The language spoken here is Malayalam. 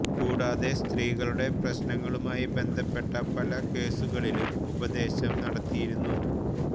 കൂടാതെ സ്ത്രീകളുടെ പ്രശ്നങ്ങളുമായി ബന്ധപ്പെട്ട പല കേസുകളിലും ഉപദേശം നടത്തിയിരുന്നു